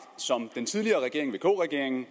som den tidligere regering vk regeringen